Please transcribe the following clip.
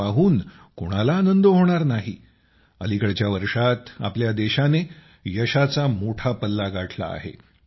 हे पाहून कोणाला आनंद होणार नाही अलिकडच्या वर्षांत आपल्या देशाने यशाचा मोठा पल्ला गाठला आहे